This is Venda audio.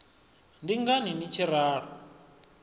ndi ngani ni tshi ralo